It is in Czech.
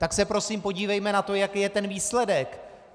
Tak se prosím podívejme na to, jaký je ten výsledek.